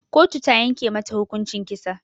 Kotu ta yanke mata hukuncin kisa